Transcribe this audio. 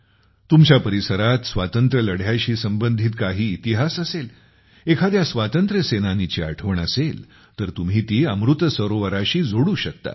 तुमच्या परिसरात स्वातंत्र्यलढ्याशी संबंधित काही इतिहास असेल एखाद्या स्वांतंत्र्य सेनानीची आठवण असेल तर तुम्ही ती अमृत सरोवराशी जोडू शकता